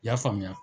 I y'a faamuya